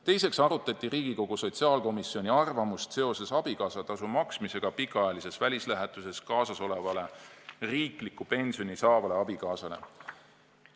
Teiseks arutati Riigikogu sotsiaalkomisjoni arvamust abikaasatasu maksmise kohta pikaajalises välislähetuses diplomaadiga kaasas olevale riiklikku pensioni saavale abikaasale.